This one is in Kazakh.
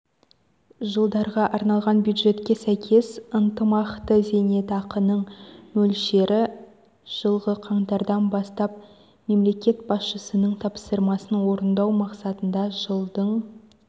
жылдарға арналған бюджетке сәйкес ынтымақты зейнетақының мөлшері жылғы қаңтардан бастап мемлекет басшысының тапсырмасын орындау мақсатында жылдың